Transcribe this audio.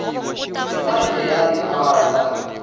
nga si hela tiawara ta